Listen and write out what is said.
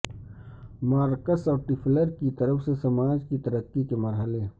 marks اور Toffler کی طرف سے سماج کی ترقی کے مرحلے